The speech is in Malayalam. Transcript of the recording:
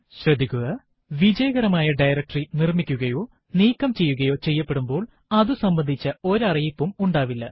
ശ്രദ്ധിക്കുക വിജയകരമായ ഡയറക്ടറി നിർമിക്കുകയോ നീക്കം ചെയ്യുകയോ ചെയ്യപെടുമ്പോൾ അതു അതുസംബന്ധിച്ച ഒരറിയിപ്പും ഉണ്ടാവില്ല